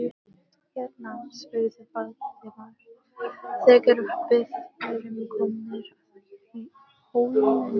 Hérna? spurði Valdimar, þegar við vorum komnir að hólmunum.